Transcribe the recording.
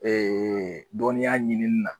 Ee dɔnniya ɲinini na